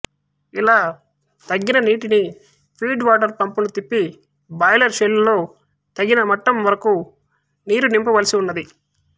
ఇలా తగ్గిన నీటిని ఫీడ్ వాటరు పంపును తిప్పి బాయిలరు షెల్ లో తగిన మట్టం వరకునీరు నింపవలసి వున్నది